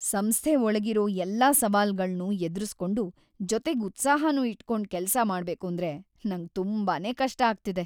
ಸಂಸ್ಥೆ ಒಳ್ಗಿರೋ ಎಲ್ಲಾ ಸವಾಲ್‌ಗಳ್ನೂ ಎದ್ರುಸ್ಕೊಂಡು, ಜೊತೆಗ್ ಉತ್ಸಾಹನೂ ಇಟ್ಕೊಂಡ್‌ ಕೆಲ್ಸ ಮಾಡ್ಬೇಕೂಂದ್ರೆ ನಂಗ್‌ ತುಂಬಾನೇ ಕಷ್ಟ ಅಗ್ತಿದೆ.